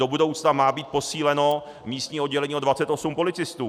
Do budoucna má být posíleno místní oddělení o 28 policistů.